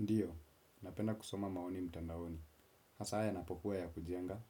Ndiyo, napenda kusoma maoni mtandaoni. Hasa yanapokuwa ya kujenga,